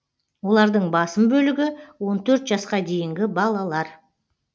олардың басым бөлігі он төрт жасқа дейінгі балалар